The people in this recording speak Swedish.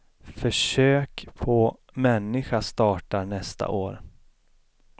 Försök på människa startar nästa år.